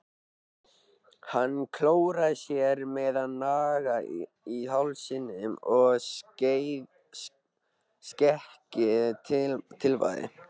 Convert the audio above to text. Hann klóraði sér með nagla í hausnum og skeggið tifaði.